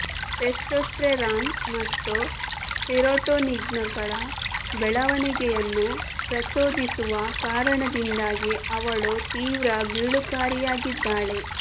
testosterone ಮತ್ತು ಸಿರೊಟೋನಿನ್ಗಳ ಬೆಳವಣಿಗೆಯನ್ನು ಪ್ರಚೋದಿಸುವ ಕಾರಣದಿಂದಾಗಿ ಅವಳು ತೀವ್ರ ಗೀಳುಕಾರಿಯಾಗಿದ್ದಾಳೆ